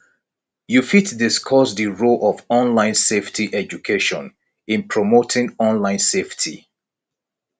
you fit discuss di role of online safety education in promoting online safety